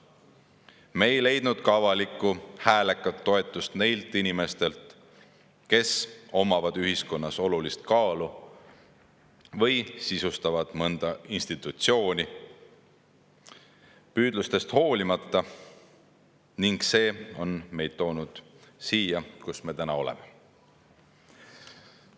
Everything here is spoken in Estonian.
Me ei leidnud püüdlustest hoolimata ka avalikku, häälekat toetust neilt inimestelt, kes omavad ühiskonnas olulist kaalu või sisustavad mõnda institutsiooni, ning see on meid toonud siia, kus me täna oleme.